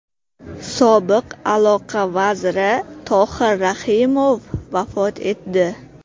Sobiq aloqa vaziri Tohir Rahimov vafot etdi.